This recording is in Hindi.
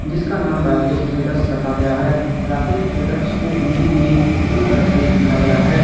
जिसका नाम राकेश ट्रेडर्स रखा गया है राकेश ट्रेडर्स को हिंदी में ब्लू कलर से लिखा गया है।